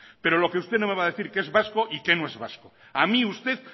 pero lo que usted no me va a decir qué es vasco y qué no es vasco a mí usted